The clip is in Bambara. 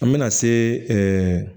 An bɛna se